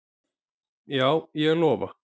Já, ég lofa